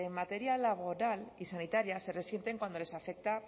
materia laboral y sanitaria se resienten cuando les afecta